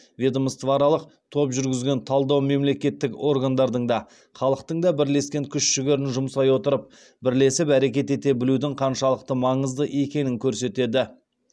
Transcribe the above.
ведомствоаралық топ жүргізген талдау мемлекеттік органдардың да халықтың да бірлескен күш жігерін жұмсай отырып бірлесіп әрекет ете білудің қаншалықты маңызды екенін көрсетеді